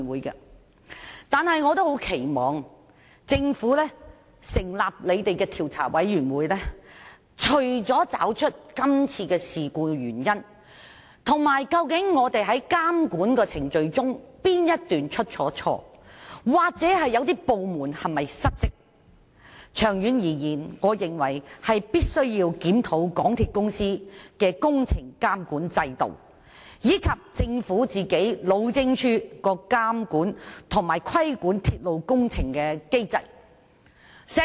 然而，我除了十分期望政府成立的調查委員會找出今次事故的原因，哪部分監管程序出錯或是否有部門失職，更認為長遠而言必須檢討港鐵公司的工程監管制度及路政署監管鐵路工程的機制。